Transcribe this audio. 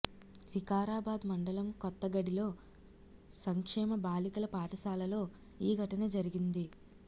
వికారాబాద్ మండలం కొత్తగడిలో సంక్షేమ బాలికల పాఠశాలలో ఈ ఘటన జరిగింది